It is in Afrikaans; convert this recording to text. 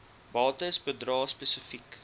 bates bedrae spesifiek